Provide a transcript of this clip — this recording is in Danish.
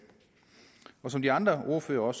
som de andre ordførere og